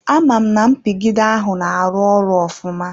Amam na mpigide ahụ na-arụ ọrụ ofụma.